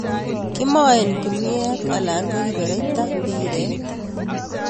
Kimoen kinuet alan ko kibereita mbiret